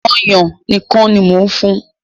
Ọ̀yàn nìkan ni mo fún un